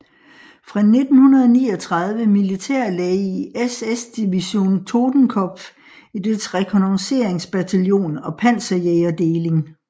Fra 1939 militærlæge i SS Division Totenkopf i dets rekognosceringsbataljon og panserjægerdeling